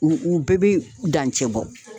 U u bɛɛ be dancɛ bɔ